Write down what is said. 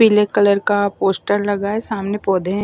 पीले कलर का पोस्टर लगा है सामने पौधे हैं।